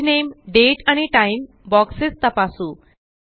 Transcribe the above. page नामे दाते आणि टाइम बॉक्सेस तपासू